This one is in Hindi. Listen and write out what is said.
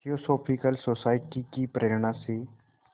थियोसॉफ़िकल सोसाइटी की प्रेरणा से